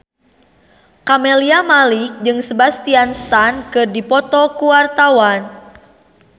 Camelia Malik jeung Sebastian Stan keur dipoto ku wartawan